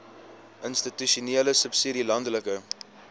institusionele subsidie landelike